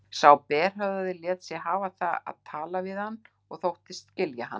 Sá berhöfðaði lét sig hafa það að tala við hann og þóttist skilja hann.